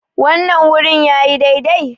wannan gurin yi dai dai?